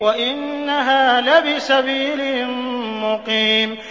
وَإِنَّهَا لَبِسَبِيلٍ مُّقِيمٍ